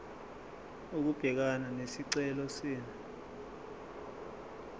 ukubhekana nesicelo senu